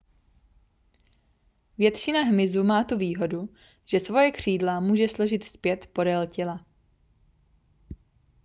většina hmyzu má tu výhodu že svoje křídla může složit zpět podél těla